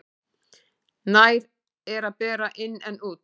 Nær er að bera inn en út.